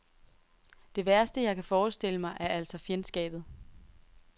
Det værste jeg kan forestille mig er altså fjendskabet.